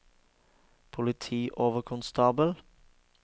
politioverkonstabel